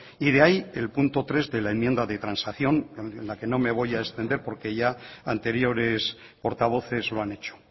y de ahí el punto tres de la enmienda de transacción en la que no me voy a extender porque ya anteriores portavoces lo han hecho